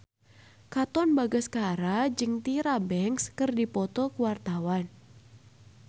Katon Bagaskara jeung Tyra Banks keur dipoto ku wartawan